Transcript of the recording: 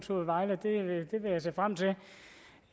det